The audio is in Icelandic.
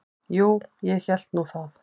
Jú, ég hélt nú það.